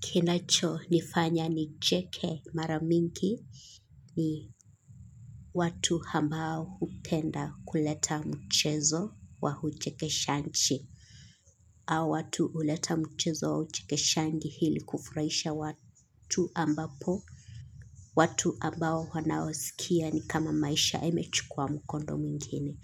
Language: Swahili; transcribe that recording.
Kinachonifanya nicheke mara mingi ni watu ambao hupenda kuleta mchezo wa uchekeshaji. Hawa watu huleta mchezo wa uchekeshaji ili kufurahisha watu ambapo. Watu ambao wanaoskia ni kama maisha yamechukua mkondo mwingine.